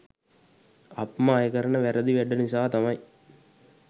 අප්ම අය කරන වැරදි වැඩ නිසා තමයි